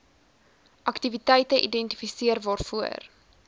aktiwiteite identifiseer waarvoor